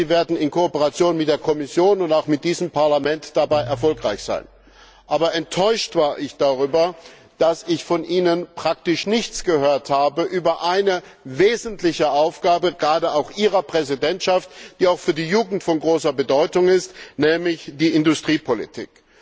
Ich hoffe, Sie werden in Kooperation mit der Kommission und auch mit diesem Parlament dabei erfolgreich sein. Aber enttäuscht war ich darüber, dass ich von Ihnen praktisch nichts gehört habe über eine wesentliche Aufgabe, gerade auch Ihrer Präsidentschaft, die auch für die Jugend von großer Bedeutung ist, nämlich die Industriepolitik.